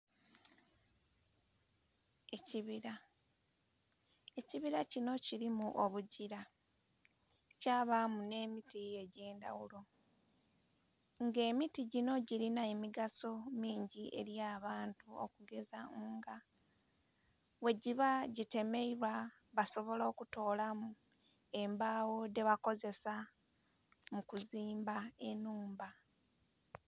Ekibira, ekibira kinho kirimu obugira kyabamu nh'emiti egyendhaghulo nga emiti ginho girinha emigaso mingi ely'abantu okugeza nga bwegiba gitemeebwa basobola okutolamu embagho dhebakozesa mukuzimba enhumba.